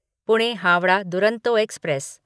Pune Howrah Duronto express